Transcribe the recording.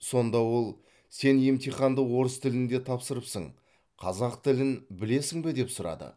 сонда ол сен емтиханды орыс тілінде тапсырыпсың қазақ тілін білесің бе деп сұрады